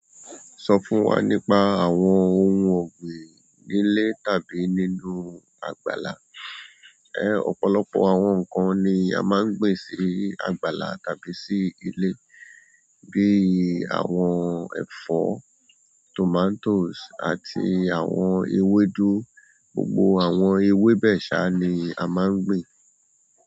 Sọ fún wa nípa àwọn ohun ọ̀gbìn nílé tàbí nínú àgbàlá. Ẹ̀ ọ̀pọ̀lọpọ̀ àwọn nǹkan ni a máa ń gbin sí àgbàlá tàbí sí ilé bíi àwọn ẹ̀fọ́, tomatoes àti àwọn ewédú. Gbogbo àwọn ewé bẹ́ẹ̀ ṣá ni a máa ń gbin.